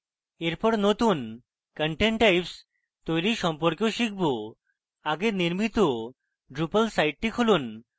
এরপর নতুন content types তৈরী সম্পর্কেও শিখব আগে নির্মিত drupal সাইটটি খুলুন